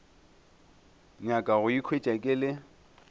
nyaka go ikhwetša ke le